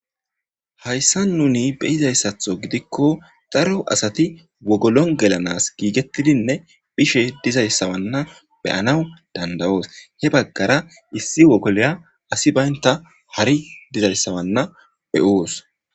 Haysa nuni beyizaysatho gidiko daro asati wogolon gelanas gigetidine bishe dizaysa beyanas danda'os issi wogoliya asiy banda harry dizaysa beyos